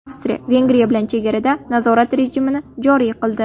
Avstriya Vengriya bilan chegarada nazorat rejimini joriy qildi.